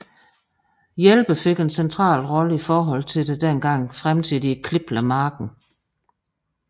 Hjælper fik en central rolle i forhold til det dengang fremtidige Kliplev Marked